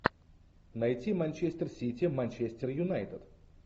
найти манчестер сити манчестер юнайтед